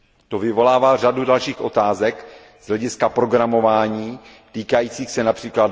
To vyvolává řadu dalších otázek z hlediska programování týkajících se např.